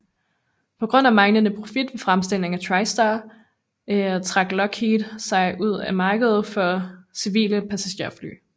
På grund af manglende profit ved fremstilling af TriStar trak Lockheed sig ud af markedet for civile passagerfly